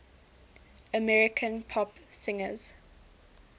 american pop singers